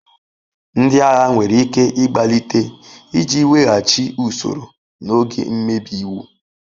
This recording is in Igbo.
Ndị agha nwere ike ịgbalite iji weghachi usoro n'oge mmebi iwu.